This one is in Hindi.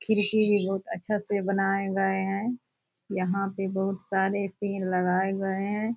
खिड़की भी बहुत अच्छे से बनाए गए है यहां पे बहुत सारे पेड़ लगाए गए हैं।